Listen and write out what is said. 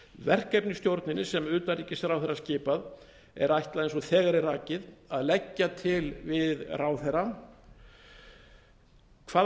verkefnisstjórninni sem utanríkisráðherra skipar er ætlað eins og þegar er rakið að leggja til við ráðherra hvaða